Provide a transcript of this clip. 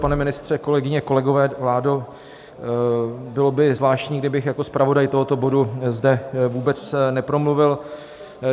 Pane ministře, kolegyně, kolegové, vládo, bylo by zvláštní, kdybych jako zpravodaj tohoto bodu zde vůbec nepromluvil.